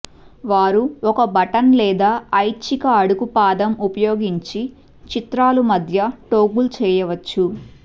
వారు ఒక బటన్ లేదా ఐచ్ఛిక అడుగు పాదం ఉపయోగించి చిత్రాలు మధ్య టోగుల్ చేయవచ్చు